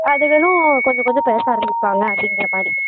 அதுகளும் கொஞ்சம் கொஞ்சம் பேச ஆரம்பிப்பாங்க அப்படிங்குற மாறி